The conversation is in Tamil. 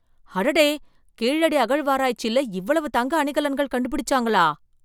அடடே கீழடி அகழ்வாராய்ச்சியில இவ்வளவு தங்க அணிகலன்கள் கண்டுபிடிச்சாங்களா!